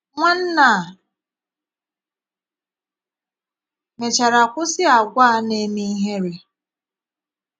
Nwanna a mechara kwụsị àgwà a na - eme ihere.